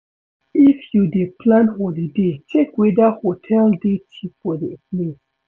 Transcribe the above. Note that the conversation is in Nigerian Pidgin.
If you dey plan holiday check weda hotel dey cheap for di place